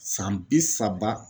San bi saba